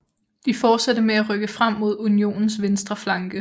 De fortsatte med at rykke frem mod unionens venstre flanke